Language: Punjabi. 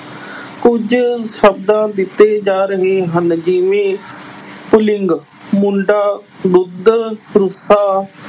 ਕੁਝ ਸ਼ਬਦਾਂ ਦਿੱਤੇ ਜਾ ਰਹੇ ਹਨ। ਜਿਵੇਂ ਪੁਲਿੰਗ- ਮੁੰਡਾ, ਦੁੱਧ,